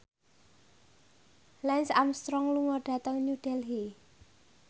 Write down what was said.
Lance Armstrong lunga dhateng New Delhi